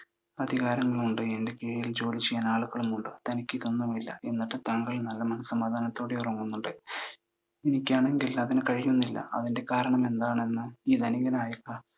എനിക്ക് അധികാരങ്ങളുണ്ട്, എനിക്ക് ജോലി ചെയ്യാൻ ആളുകളും ഉണ്ട്. തനിക്കു ഇതൊന്നുമില്ല. എന്നിട്ടും താങ്കൾ നല്ല മനസ്സമാധാനത്തോടെ ഉറങ്ങുന്നുണ്ട്. എനിക്കാണെങ്കിൽ അതിനു കഴിയുന്നുമില്ല. അതിൻ്റെ കാരണമെന്താണെന്ന്? ഈ ധനികനായ